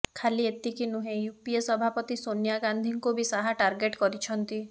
ଖାଲି ଏତିକି ନୁହେଁ ୟୁପିଏ ସଭାପତି ସୋନିଆ ଗାନ୍ଧୀଙ୍କୁ ବି ଶାହା ଟାର୍ଗେଟ କରିଛନ୍ତି